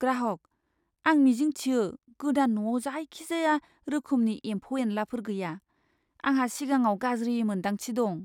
ग्राहकः "आं मिजिं थियो गोदान न'आव जायखिजाया रोखोमनि एम्फौ एनलाफोर गैया, आंहा सिगाङाव गाज्रि मोन्दांथि दं।"